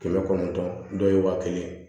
Kɛmɛ kɔnɔntɔn dɔw ye waa kelen